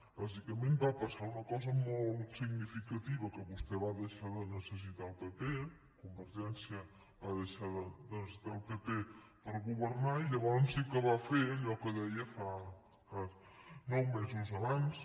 bàsicament va passar una cosa molt significativa que vostè va deixar de necessitar el pp convergència va deixar de necessitar el pp per governar i llavors sí que va fer allò que deia nou mesos abans